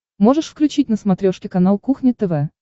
можешь включить на смотрешке канал кухня тв